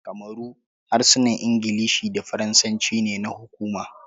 A kamaru, harsunan Ingilishi da Faransanci ne na hukuma.